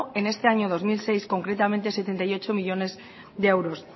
en este año dos mil dieciséis concretamente sesenta y ocho millónes de euros